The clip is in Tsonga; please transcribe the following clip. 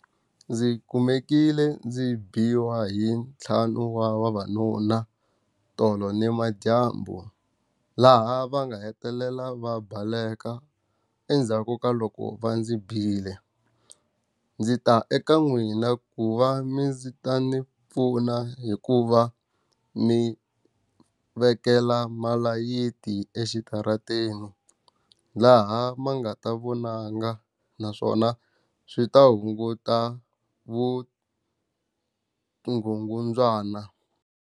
Ndzi kumekile ndzi biwa hi ntlhanu wa vavanuna tolo ni madyambu. Laha va nga hetelela va baleka endzhaku ka loko va ndzi bile. Ndzi ta eka n'wina ku va mi ndzi ta ni pfuna hikuva ni vekela malayiti exitarateni. Laha ma nga ta vonanga naswona swi ta hunguta vukungundzwana.